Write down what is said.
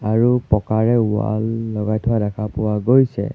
আৰু পকাৰে ৱাল লগাই থোৱা দেখা পোৱা গৈছে।